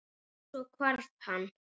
Og- svo hvarf hann.